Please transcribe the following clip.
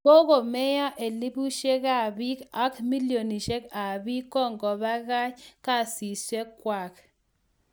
Kokomeiyo elipusiekab ak biik, ak milionisiek ab biik ko kogobakach kasisiekwak